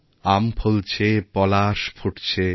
আম ফলছে পলাশ ফুটছে